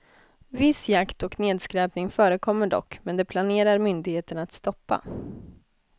Viss jakt och nedskräpning förekommer dock, men det planerar myndigheterna att stoppa.